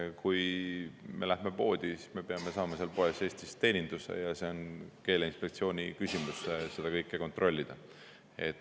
Kui me läheme poodi, siis me peame saama seal poes teeninduse, ja on keeleinspektsiooni seda kõike kontrollida.